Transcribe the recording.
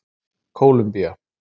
Kólumbía